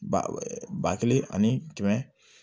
Ba ba kelen ani kɛmɛ